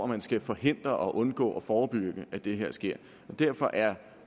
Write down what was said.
man skal forhindre og undgå og forebygge at det her sker derfor er